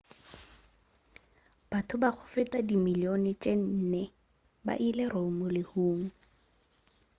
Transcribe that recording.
batho ba go feta ba dimillione tše nne ba ile rome lehung